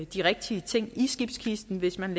de rigtige ting i skibskisten hvis man